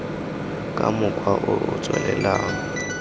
ka mokgwa o o tswelelang